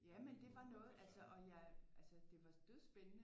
Jamen det var noget altså og jeg altså det var dødspændende